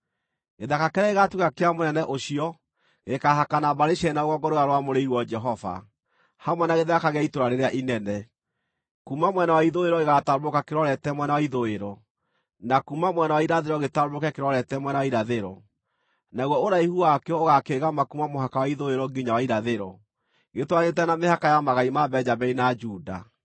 “ ‘Gĩthaka kĩrĩa gĩgaatuĩka kĩa mũnene ũcio gĩkaahakana mbarĩ cierĩ na rũgongo rũrĩa rwamũrĩirwo Jehova, hamwe na gĩthaka gĩa itũũra rĩrĩa inene. Kuuma mwena wa ithũĩro gĩgaatambũrũka kĩrorete mwena wa ithũĩro, na kuuma mwena wa irathĩro gĩtambũrũke kĩrorete mwena wa irathĩro, naguo ũraihu wakĩo ũgaakĩĩgama kuuma mũhaka wa ithũĩro nginya wa irathĩro, gĩtwaranĩte na mĩhaka ya magai ma Benjamini na Juda.